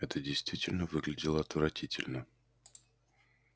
это действительно выглядело отвратительно